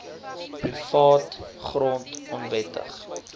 privaat grond onwettig